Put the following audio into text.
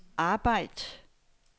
arbejd